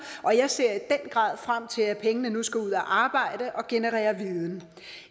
og jeg ser i den grad frem til at pengene nu skal ud og arbejde og generere viden